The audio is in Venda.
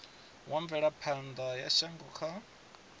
wa mvelaphana ya shango kha